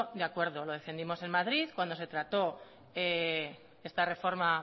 de acuerdo lo defendimos en madrid cuando se trató esta reforma